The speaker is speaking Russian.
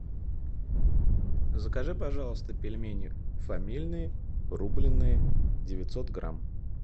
закажи пожалуйста пельмени фамильные рубленные девятьсот грамм